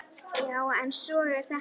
Já, en svona er þetta.